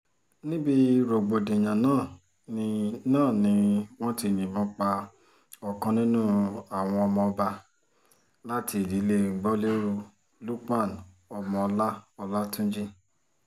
níbi rògbòdìyàn náà ni náà ni wọ́n ti yìnbọn pa ọ̀kan nínú àwọn ọmọọba láti ìdílé gbolérù lukman ọmọọlá ọlátúnjì